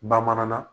Bamanan na